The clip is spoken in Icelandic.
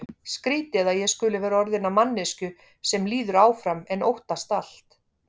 Skrýtið að ég skuli vera orðin að manneskju sem líður áfram en óttast allt.